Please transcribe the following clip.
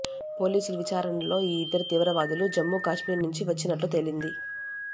పోలీసుల విచారణలో ఈ ఇద్దరు తీవ్రవాదులు జమ్మూకాశ్మీర్ నుంచి వచ్చినట్లు తేలింది